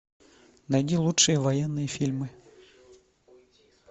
найди лучшие военные фильмы